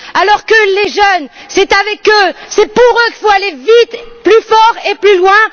Alors que les jeunes, c'est avec eux, c'est pour eux qu'il faut aller vite, plus fort et plus loin.